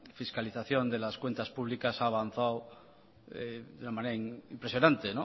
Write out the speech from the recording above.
fiscalización de las cuentas públicas ha avanzado de una manera impresionante